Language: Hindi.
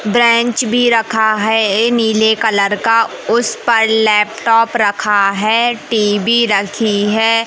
बेंच भी रखा है ये नीले कलर का उस पर लैपटॉप रखा है टी_वी रखी है।